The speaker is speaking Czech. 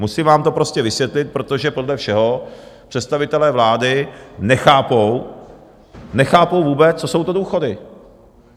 Musím vám to prostě vysvětlit, protože podle všeho představitelé vlády nechápou, nechápou vůbec, co jsou to důchody.